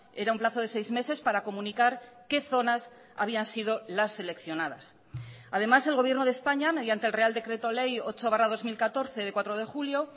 era un plazo de seis meses para comunicar qué zonas habían sido las seleccionadas además el gobierno de españa mediante el real decreto ley ocho barra dos mil catorce de cuatro de julio